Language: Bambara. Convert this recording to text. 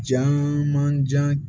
Caamanjan